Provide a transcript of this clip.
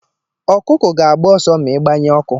Ọkụkụ ga-agba ọsọ ma ị gbanye ọkụ.